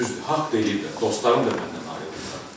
Düzdür, haqq deyiblər, dostlarım da məndən ayrıldılar.